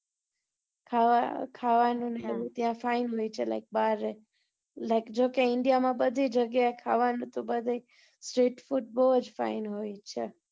ખાવા નું ને ખાવા નું ત્યાં fine હોય છે like બાર એ like જોકે india માં બધી જગ્યા એ ખાવા નું તો બને street food બઉ જ fine હોય છે.